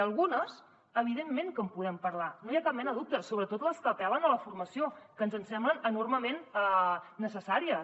d’algunes evidentment que en podem parlar no hi ha cap mena de dubte sobretot les que apel·len a la formació que ens semblen enormement necessàries